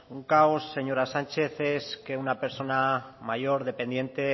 un caos señora sánchez es que una persona mayor dependiente